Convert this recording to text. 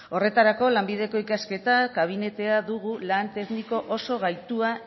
horretarako lanbideko ikasketak gabinetea dugu lan tekniko oso gaitua